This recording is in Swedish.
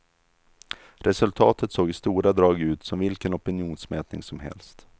Resultatet såg i stora drag ut som vilken opinionsmätning som helst.